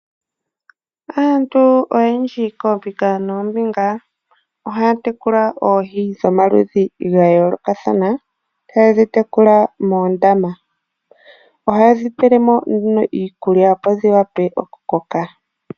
Aantu oyendji koombinga noombinga, ohaya tekula oohi dhomaludhi ga yoolokathana, haye ga tekula moondama. Ohaye dhi pele mo nduno iikulya opo dhi wape okukoka.